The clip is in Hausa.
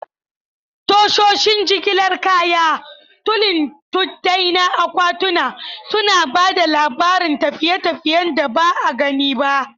Tashoshin jigilar kaya, tulin tuddai na akwatuna, suna ba da labarin tafiye-tafiyen da ba a gani ba.